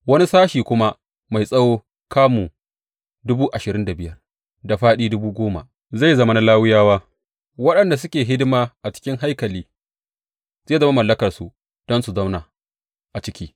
Wani sashi kuma mai tsawo kamu dubu ashirin da biyar da fāɗi dubu goma zai zama na Lawiyawa, waɗanda suke hidima a cikin haikali, zai zama mallakarsu don su zauna a ciki.